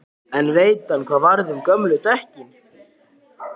En veit hann hvað varð um gömlu dekkin?